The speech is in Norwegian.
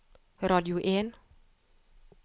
radio en